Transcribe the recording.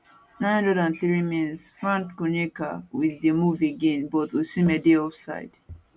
903minsfrank onyeka wit di move again but osimhen dey offside